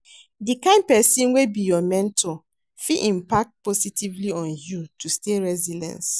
Di kind pesin wey be your mentor fit impact positively on you to stay resilience.